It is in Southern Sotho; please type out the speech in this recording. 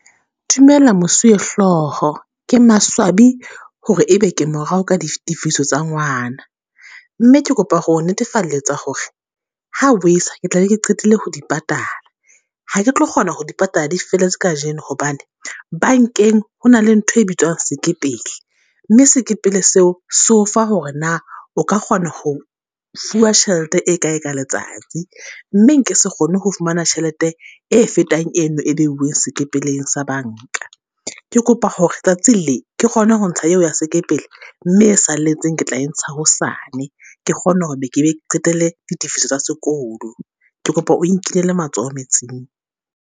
Dumela mosuwehloho, ke maswabi hore e be ke morao ka ditifiso tsa ngwana. Mme ke kopa ho netefalletsa hore ha bo esa, ke tla be ke qetile ho di patala. Ha ke tlo kgona ho di patala di feletse kajeno hobane, bankeng ho na le ntho e bitswang sekepele. Mme sekepele seo se o fa hore na o ka kgona ho fuwa tjhelete e kae ka letsatsi. Mme nke se kgone ho fumana tjhelete e fetang eno e be bueng sekepeleng se banka. Ke kopa hore tsatsing le, ke kgone ho ntsha eo ya sekepele mme e salletseng ke tla e ntsha hosane. Ke kgone hore ke qetelle ditifiso tsa sekolo, ke kopa o nkinele matsoho metsing.